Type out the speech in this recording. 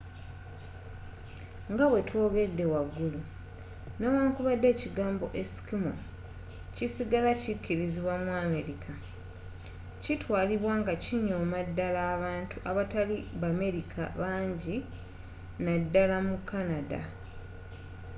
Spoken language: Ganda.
nga bwe twogedde wagulu, newankubadde ekigambo eskimo” kisigala kikirizibwa mu amerika kitwalibwa nga kinyooma naddala abantu abatali bamerika banji naddala mu canada